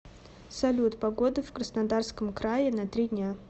салют погода в краснодарском крае на три дня